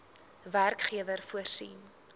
werkgewer voorsien